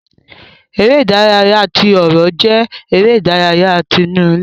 Eré ìdárayá tí ọrọ jẹ eré ìdárayá tí inú ilé.